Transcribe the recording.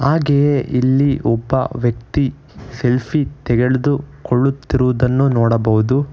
ಹಾಗೆಯೇ ಇಲ್ಲಿ ಒಬ್ಬ ವ್ಯಕ್ತಿ ಸೆಲ್ಫಿ ತೆಗೆದುಕೊಳ್ಳುತ್ತಿರುವುದನ್ನು ನೋಡಬಹುದು.